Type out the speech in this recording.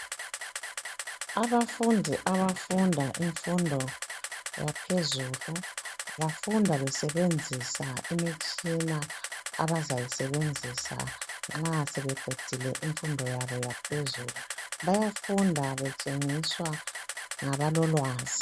Abafundi abafunda imfundo yaphezulu bafunda besebenzisa imitshina abazayisebenzisa nxa sebeqedile imfundo yabo yaphezulu. Bayafunda betshengiswa ngabalolwazi